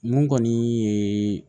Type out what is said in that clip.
Mun kɔni ye